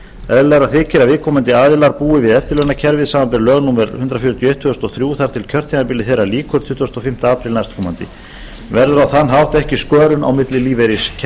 eðlilegra þykir að viðkomandi aðilar búi við eftirlaunakerfið samanber lög númer hundrað fjörutíu og eitt tvö þúsund og þrjú þar til kjörtímabili þeirra lýkur tuttugasta og fimmta apríl næstkomandi verður á þann hátt ekki skörun á milli lífeyriskerfa